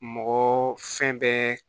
Mɔgɔ fɛn bɛɛ